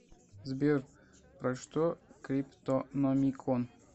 сбер про что криптономикон